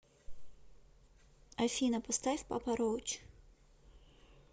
афина поставь папа роуч